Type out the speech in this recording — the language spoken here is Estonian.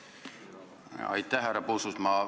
Härra Puustusmaa!